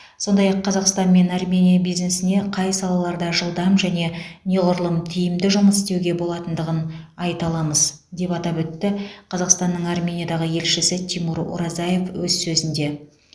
сондай ақ қазақстан мен армения бизнесіне қай салаларда жылдам және неғұрлым тиімді жұмыс істеуге болатындығын айта аламыз деп атап өтті қазақстанның армениядағы елшісі тимур оразаев өз сөзінде